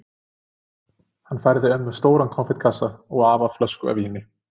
Hann færði ömmu stóran konfektkassa og afa flösku af víni.